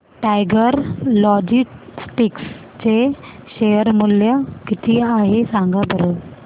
tiger Logistics चे share मूल्य किती आहे सांगा बरं